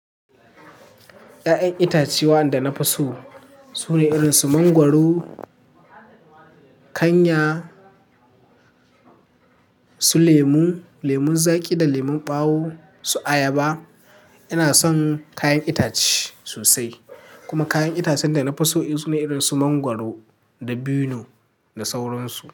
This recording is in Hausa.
Ya'yan itatuwa da na fi so su ne irin su mangwaro, kanya, su lemu, lemun zaƙi da lemun ɓawo, su ayaba. Ina son kayan itace sosai, kuma kayan itacen da na fi so irin su mangwaro dabinu da sauransu.